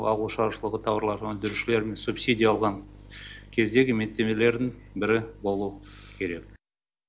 ауыл шаруашылығы тауарларын өндірушілердің субсидия алған кездегі міндеттемелерінің бірі болу керек